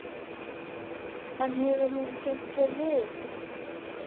En hefur hún kynnt sér liðið?